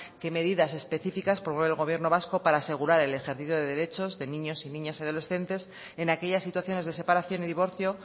qué medidas específicas promueve el gobierno vasco para asegurar el ejercicio de derechos de niños y niñas adolescentes en aquellas situaciones de separación y divorcio